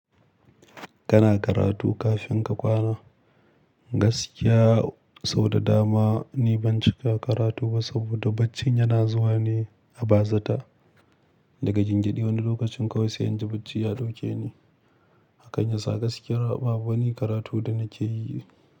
Kana karatu kafin ka kwana? Gaskiya sau da dama ni ban cika karatu ba saboda barcin yana zuwa ne a bazata. Daga gyangyaɗi wani lokacin kawai sai in ji bacci ya dauke ni. Hakan yasa gaskiya babu wani karatu da nake yi.